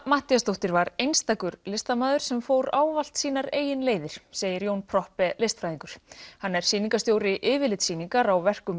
Matthíasdóttir var einstakur listamaður sem fór ávallt sínar eigin leiðir segir Jón Proppé listfræðingur hann er sýningarstjóri yfirlitssýningar á verkum